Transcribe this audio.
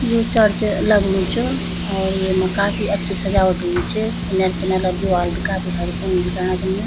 यु church लगणु च और येमा काफी अच्छी सजावट हुईं च किनर-किनर दीवाल भी काफी हर उन दिखेणा छिन।